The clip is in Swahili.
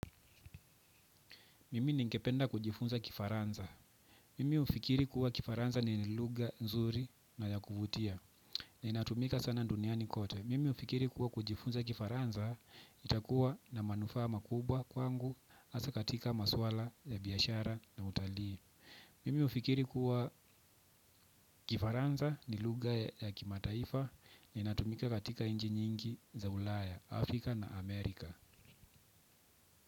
Mimi ningependa kujifunza Kifaransa. Mimi hufikiri kuwa Kifaransa ni ni lugha nzuri na ya kuvutia. Ni inatumika sana duniani kote. Mimi hufikiri kuwa kujifunza kifaransa itakuwa na manufaa makubwa kwangu hasa katika masuala ya biashara na utalii. Mimi hufikiri kuwa kifaransa ni lugha ya kimataifa ni natumika katika nchi nyingi za Ulaya Afrika na Amerika.